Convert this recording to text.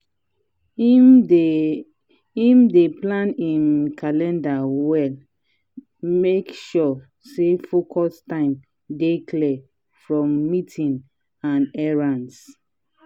him dey him dey plan him calender well make sure say focus time dey clear from meetings and errands.